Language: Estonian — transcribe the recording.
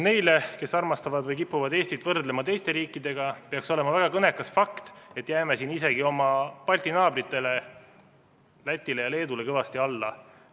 Neile, kes armastavad võrrelda või kipuvad võrdlema Eestit teiste riikidega, peaks olema väga kõnekas see fakt, et me jääme siin isegi oma Balti naabritele, Lätile ja Leedule, kõvasti alla.